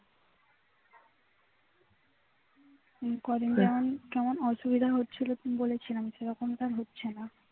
কদিন যেমন কেমন অসুবিধা হচ্ছিলো সেরকম তো আর হচ্ছে না